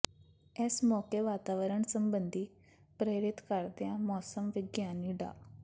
ਇਸ ਮੌਕੇ ਵਾਤਾਵਰਣ ਸਬੰਧੀ ਪ੍ਰੇਰਿਤ ਕਰਦਿਆਂ ਮੌਸਮ ਵਿਗਿਆਨੀ ਡਾ